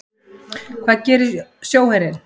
Hvað gerir sjóherinn?